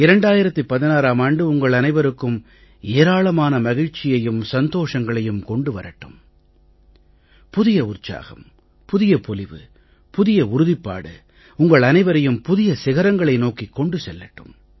2016ம் ஆண்டு உங்கள் அனைவருக்கும் ஏராளமான மகிழ்ச்சியையும் சந்தோஷங்களையும் கொண்டு வரட்டும் புதிய உற்சாகம் புதிய பொலிவு புதிய உறுதிப்பாடு உங்கள் அனைவரையும் புதிய சிகரங்களை நோக்கிக் கொண்டு செல்லட்டும்